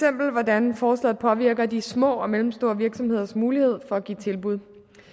hvordan forslaget påvirker de små og mellemstore virksomheders mulighed for at give et tilbud